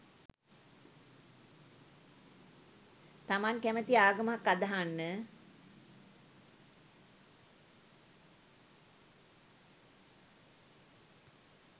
තමන් කැමති ආගමක් අදහන්න